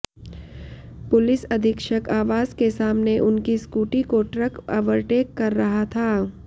police अधीक्षक आवास के सामने उनकी स्कूटी को ट्रक अवरटेक कर रहा था